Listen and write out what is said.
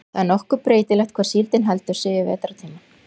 það er nokkuð breytilegt hvar síldin heldur sig yfir vetrartímann